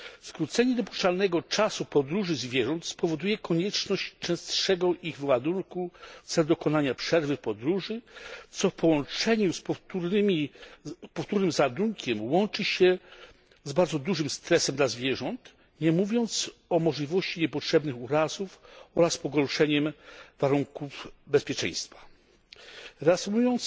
Skrócenie dopuszczalnego czasu podróży zwierząt spowoduje konieczność częstszego ich ładunku w celu dokonania przerwy w podróży, co w połączeniu z powtórnym załadunkiem łączy się z bardzo dużym stresem dla zwierząt, nie mówiąc o możliwości niepotrzebnych urazów oraz pogorszeniem warunków bezpieczeństwa. Reasumując,